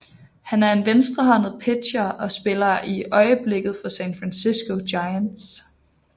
Han er en venstrehåndet pitcher og spiller i øjeblikket for San Francisco Giants